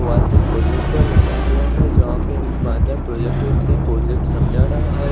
दीवाल में प्रोजेक्टर हुआ है जहा पर एक बाँदा प्रोजेक्टर में प्रोजेक्ट समझा रहा है।